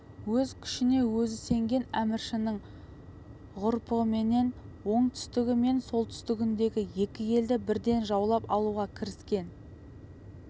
өз күшіне өзі сенген әміршінің ғұрпыменен оңтүстігі мен солтүстігіндегі екі елді бірден жаулап алуға кіріскен